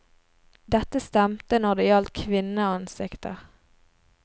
Dette stemte når det gjaldt kvinneansikter.